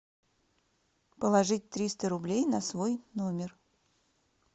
положить триста рублей на свой номер